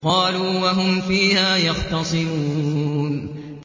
قَالُوا وَهُمْ فِيهَا يَخْتَصِمُونَ